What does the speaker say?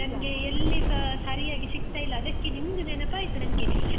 ನನ್ಗೆ ಎಲ್ಲಿಸಾ ಸರಿಯಾಗಿ ಸಿಗ್ತಾ ಇಲ್ಲ, ಅದಕ್ಕೆ ನಿಮ್ದು ನೆನಪಾಯ್ತು ನನ್ಗೆ.